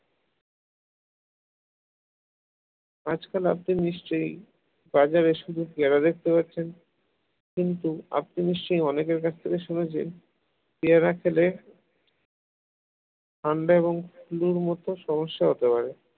আজকাল আপনি নিশ্চয়ই বাজারে শুধু পেয়ারা দেখতে পাচ্ছেন কিন্তু আপনি নিশ্চয়ই অনেকের কাছ থেকে শুনেছেন পেয়ারা খেলে ঠান্ডা এবং ফুলোর মত সমস্যা হতে পারে